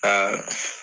Aa